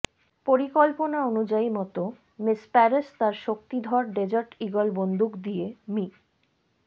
পরিকল্পনা অনুযায়ী মত মিস পেরেস তার শক্তিধর ডেজার্ট ঈগল বন্দুক দিয়ে মি